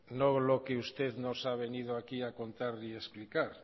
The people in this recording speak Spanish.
no lo que usted nos ha venido aquí a contar y a explicar